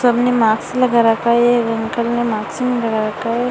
सब ने मास्क लगा रखा है एक अंकल ने मास्क नहीं लगा रखा है।